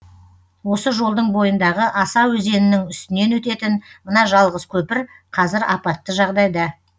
осы жолдың бойындағы аса өзенінің үстінен өтетін мына жалғыз көпір қазір апатты жағдайда